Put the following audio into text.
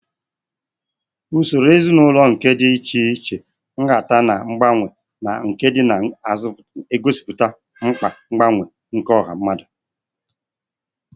Usoro ezinaụlọ nke dị iche iche, nhata, na mgbanwe, na nke na-egosipụta mkpa mgbanwe nke ọha mmadụ